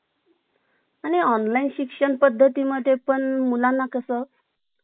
आणि online शिक्षण पद्धती मध्ये पण मुलांना कसं